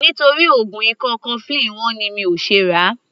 Nítorí oògùn ikọ́ cofflin wọ́n ni mi ò ṣe ràá.